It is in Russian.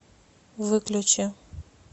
выключи